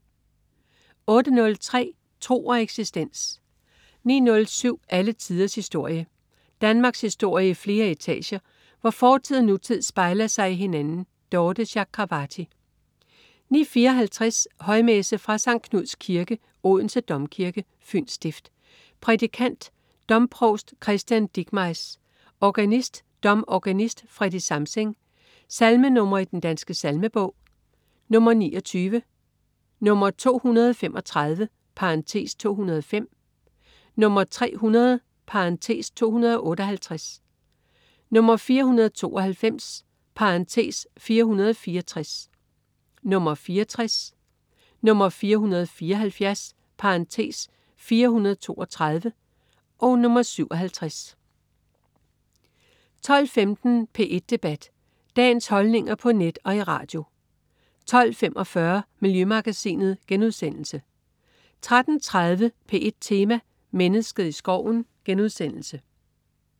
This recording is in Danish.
08.03 Tro og eksistens 09.07 Alle tiders historie. Danmarkshistorie i flere etager, hvor fortid og nutid spejler sig i hinanden. Dorthe Chakravarty 09.54 Højmesse. Fra Skt. Knuds Kirke (Odense Domkirke), Fyns stift. Prædikant: domprovst Christian Dickmeiss. Organist: domorganist Freddy Samsing. Salmenr. i Den Danske Salmebog: 29, 235 (205), 300 (258), 492 (464), 64, 474 (432), 57 12.15 P1 Debat. Dagens holdninger på net og i radio 12.45 Miljømagasinet* 13.30 P1 Tema: Mennesket i skoven*